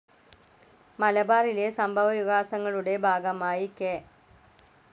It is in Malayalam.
മലബാറിലെ സംഭവവികാസങ്ങളുടെ ഭാഗമായി കെ.